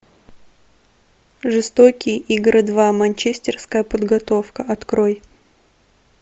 жестокие игры два манчестерская подготовка открой